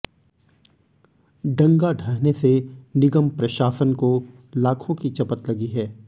डंगा ढहने से निगम प्रशासन को लाखों की चपत लगी है